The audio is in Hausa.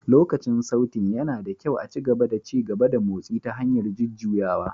Lokacin Sautéing, yana da kyau a ci gaba da ci gaba da motsi ta hanyar jujjuyawa